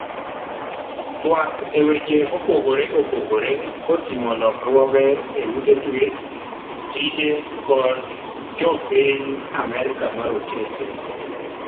twak e weche mopogore opogore koting'o lokruoge e ute twech, tije kod Jopiny Amerka marotenge